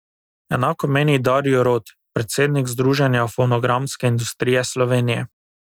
Enako meni Darjo Rot, predsednik Združenja fonogramske industrije Slovenije.